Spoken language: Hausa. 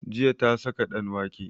Jiya ta saka ɗanwake